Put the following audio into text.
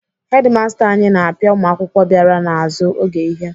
Hedimasta anyị na-apịa ụmụakwụkwọ bịara n'azụ oge ihe.